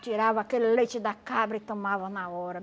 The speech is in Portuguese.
Tirava aquele leite da cabra e tomava na hora.